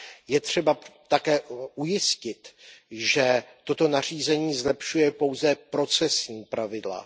Je třeba také ujistit, že toto nařízení zlepšuje pouze procesní pravidla.